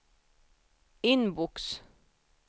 inbox